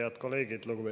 Head kolleegid!